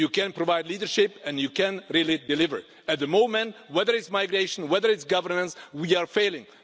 You can provide leadership and you can really deliver. At the moment, whether it's migration, whether it's governance, we are failing.